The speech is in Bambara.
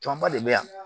Tɔnba de bɛ yan